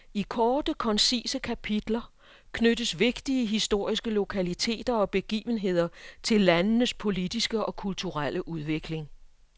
I korte koncise kapitler knyttes vigtige historiske lokaliteter og begivenheder til landenes politiske og kulturelle udvikling.